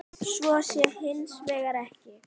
Svo sé hins vegar ekki.